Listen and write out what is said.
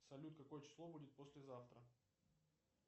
салют какое число будет послезавтра